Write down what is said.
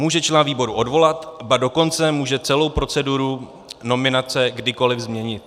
Může člena výboru odvolat, ba dokonce může celou proceduru nominace kdykoli změnit.